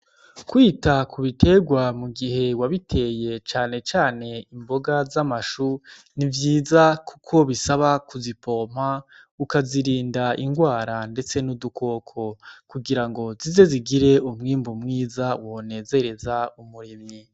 Kwita ku biterwa mu gihe wabiteye canecane imboga z'amashu nivyiza, kuko bisaba kuzipompa ukazirinda ingwara, ndetse n'udukoko kugira ngo zize zigire umwimbu mwiza wonezereza umurimyi.